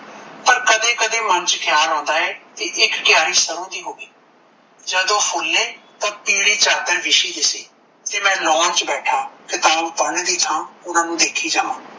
ਪਰ ਕਦੇ ਕਦੇ ਮਨ ਚ ਖਿਆਲ ਆਉਂਦਾ ਕੀ ਇੱਕ ਕੀਆਰੀ ਸਰੋਂ ਦੀ ਹੋਵੇ ਜਦੋਂ ਫੂਲੇ ਤਾਂ ਪੀਲੀ ਚਾਦਰ ਬੀਸ਼ੀ ਦਿਸੇ ਤੇ ਮੈ lawn ਚ ਬੈਠਾ ਕਿਤਾਬ ਪੜਨ ਦੀ ਥਾਂ ਓਨਾ ਨੂੰ ਦੇਖਿ ਜਾਵਾਂ।